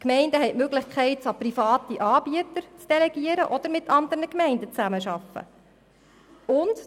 Die Gemeinden haben die Möglichkeit, dieses an private Anbieter zu delegieren oder mit anderen Gemeinden zusammenzuarbeiten.